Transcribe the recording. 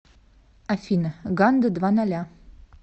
афина ганда два ноля